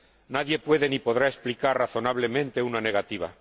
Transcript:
Nadie puede ni podrá explicar razonablemente una negativa.